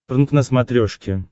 прнк на смотрешке